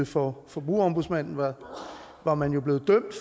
for forbrugerombudsmanden var var man blevet dømt